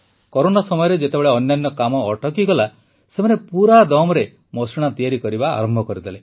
corona ସମୟରେ ଯେତେବେଳେ ଅନ୍ୟାନ୍ୟ କାମ ଅଟକିଗଲା ସେମାନେ ପୁରା ଦମରେ ମଶିଣା ତିଆରି କରିବା ଆରମ୍ଭ କରିଦେଲେ